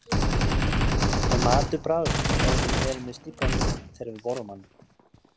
Er matur bragðlaus ef við erum með stíflað nef þegar við borðum hann?